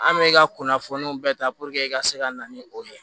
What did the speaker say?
An bɛ i ka kunnafoniw bɛɛ ta i ka se ka na ni o ye